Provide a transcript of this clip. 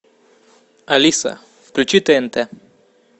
алиса включи тнт